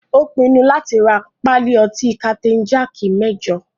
Ó pinnu láti rá pálí ọtí kapitain jaaki mẹ́jọ.